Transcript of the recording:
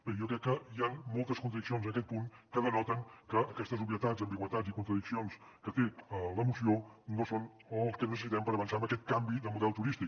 bé jo crec que hi han moltes contradiccions en aquest punt que denoten que aquestes obvietats ambigüitats i contradiccions que té la moció no són el que necessitem per avançar en aquest canvi de model turístic